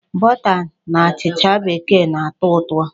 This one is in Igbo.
Bọta na achịcha bekee na-atọ ụtọ.